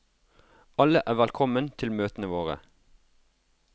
Alle er velkommen til møtene våre.